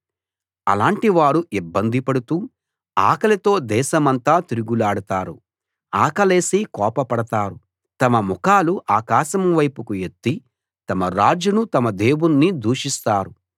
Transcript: అలాటి వారు ఇబ్బంది పడుతూ ఆకలితో దేశమంతా తిరుగులాడుతారు ఆకలేసి కోపపడతారు తమ ముఖాలు ఆకాశం వైపుకు ఎత్తి తమ రాజును తమ దేవుణ్ణి దూషిస్తారు